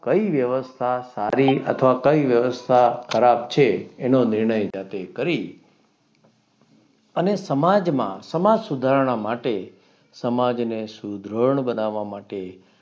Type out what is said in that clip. કઈ વ્યવસ્થા સારી? અથવા કઈ વ્યવસ્થા ખરાબ છે? એનો નિર્ણય જાતે કરી અને સમાજમાં સમાજ સુધારણા માટે સમાજને સુધરડ બનાવવા માટે